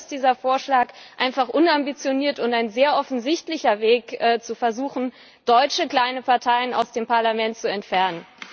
Aber so ist dieser Vorschlag einfach unambitioniert und ein sehr offensichtlicher Weg, zu versuchen, deutsche kleine Parteien aus dem Parlament zu entfernen.